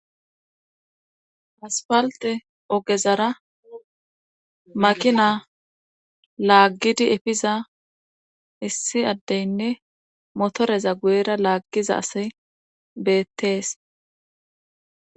Aspalte ogezara makina laaggidi efiza issi addeynne motoreza guyera laaggiza ase beettees